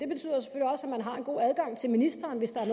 man har en god adgang til ministeren hvis der er